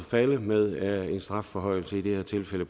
falde med en strafforhøjelse i det her tilfælde